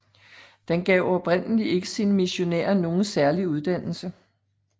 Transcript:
Den gav oprindelig ikke sine missionærer nogen særlig uddannelse